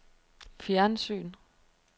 fjernsyn